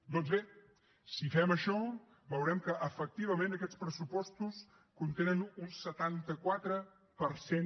doncs bé si fem això veurem que efectivament aquests pressupostos contenen un setanta quatre per cent